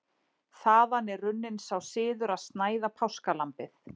þaðan er runninn sá siður að snæða páskalambið